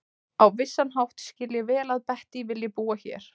Á vissan hátt skil ég vel að Bettý vilji búa hér.